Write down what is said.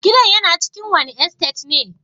Gidan yana cikin wani estate ne?